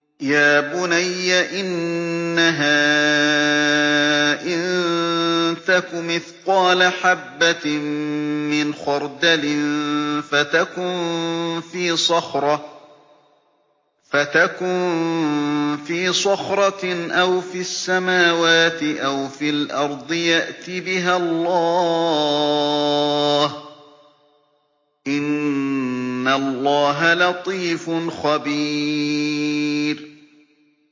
يَا بُنَيَّ إِنَّهَا إِن تَكُ مِثْقَالَ حَبَّةٍ مِّنْ خَرْدَلٍ فَتَكُن فِي صَخْرَةٍ أَوْ فِي السَّمَاوَاتِ أَوْ فِي الْأَرْضِ يَأْتِ بِهَا اللَّهُ ۚ إِنَّ اللَّهَ لَطِيفٌ خَبِيرٌ